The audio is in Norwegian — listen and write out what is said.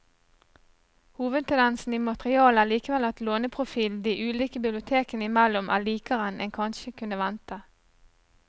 Hovedtendensen i materialet er likevel at låneprofilen de ulike bibliotekene imellom er likere enn en kanskje kunne vente.